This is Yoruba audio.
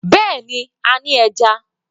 Bẹ́ẹ̀ni, a ní ẹja.